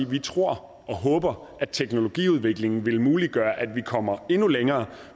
vi tror og håber at teknologiudviklingen vil muliggøre at vi kommer endnu længere